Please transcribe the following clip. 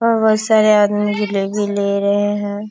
और बहुत सारे आदमी जलेबी ले रहे हैं।